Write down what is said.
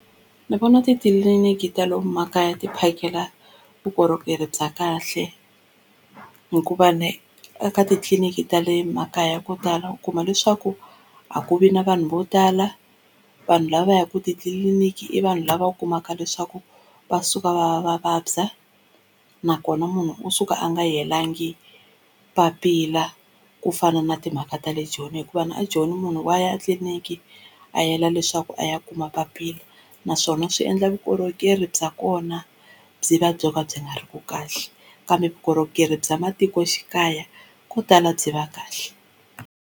Ndzi vona titliliniki ta lomu makaya ti phakela vukorhokeri bya kahle hikuva eka titliliniki ta le makaya ko tala u kuma leswaku a ku vi na vanhu vo tala vanhu lava va ya ka titliliniki i vanhu lava u kumaka leswaku va suka va va va vabya, nakona munhu u suka a nga yelangi papila kufana na timhaka ta le Joni, hikuva a joni munhu wa ya etliliniki a yela leswaku a ya kuma papila naswona swi endla vukorhokeri bya kona byi va byo ka byi nga ri ki kahle kambe vukorhokeri bya matikoxikaya ko tala byi va kahle.